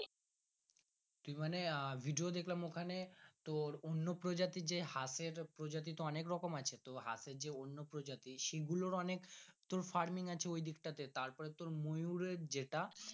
মানে আহ video দেখলাম ওখানে তোর অন্য প্রজাতির যে হাতে প্রজাতির তো অনেকরকম আছে তো প্রজাতির সি গুলোরঅনেক তোর farming আছে ওই দিকটা তে তোর পরে তোর ময়ুর এর যেটা।